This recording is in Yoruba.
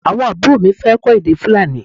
Awọn aburo mi fẹ kọ èdè Fulani